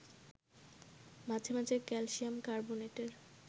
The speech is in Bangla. মাঝে মাঝে ক্যালসিয়াম কার্বোনেটের